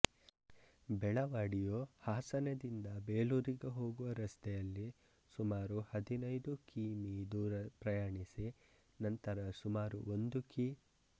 ಬೆಳವಾಡಿಯು ಹಾಸನದಿಂದ ಬೇಲೂರಿಗೆ ಹೋಗುವ ರಸ್ತೆಯಲ್ಲಿ ಸುಮಾರು ಹದಿನೈದು ಕಿ ಮೀ ದೂರ ಪ್ರಯಾಣಿಸಿ ನಂತರ ಸುಮಾರು ಒಂದು ಕಿ